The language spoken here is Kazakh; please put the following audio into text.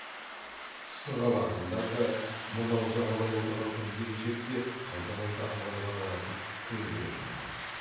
сығалағандар да мынау жағалай отырған қыз келіншек те қайта қайта абайға қарасып көздерін алмайды